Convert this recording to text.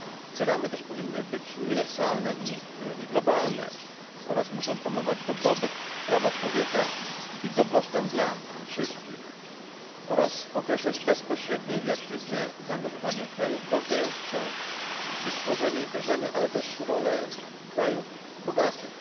Te ramy powinny też być uniwersalne i globalne, a także muszą promować dobrobyt, prawa człowieka i dobrostan dla wszystkich oraz określać bezpośrednie i aktywne zaangażowanie krajów rozwijających się w ich tworzenie i wdrażanie, ale również rolę krajów bogatych.